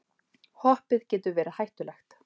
Hoppið getur verið hættulegt